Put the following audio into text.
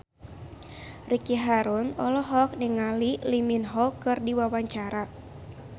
Ricky Harun olohok ningali Lee Min Ho keur diwawancara